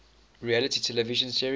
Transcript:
reality television series